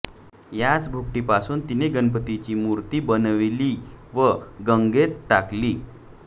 याच भुकटीपासून तिने गणपतीची मूर्ती बनवली व गंगेत टाकली